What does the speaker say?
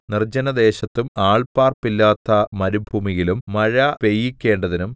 നിർജ്ജനദേശത്തും ആൾ പാർപ്പില്ലാത്ത മരുഭൂമിയിലും മഴ പെയ്യിക്കേണ്ടതിനും